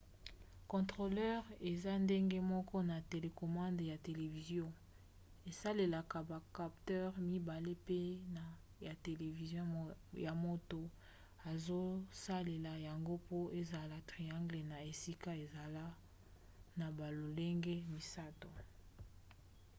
controleur eza ndenge moko na télécommande ya televizio; esalelaka ba capteurs mibale pene ya televizio ya moto azosalela yango po esala triangle na esika ezala na balolenge misato